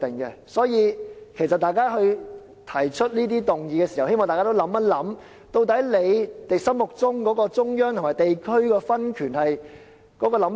因此，當議員提出一項議案時，我希望大家想清楚，究竟自己心目中對中央與地區分權有何想法。